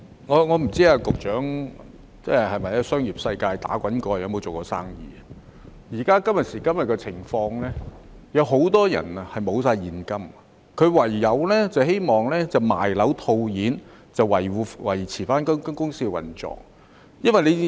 我不知道局長曾否在商業世界打滾，有否做過生意，今時今日，很多人都已沒有現金，唯有希望賣樓套現，以維持公司的運作。